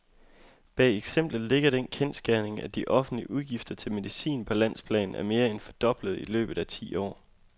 Bag eksemplet ligger den kendsgerning, at de offentlige udgifter til medicin på landsplan er mere end fordoblet i løbet af ti år.